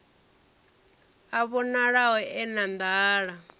a vhonalaho e na nḓala